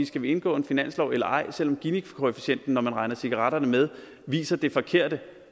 skal indgå i finansloven eller ej selv om ginikoefficienten når man regner cigaretterne med viser det forkerte